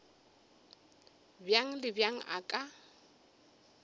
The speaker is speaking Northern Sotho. bjang le bjang a ka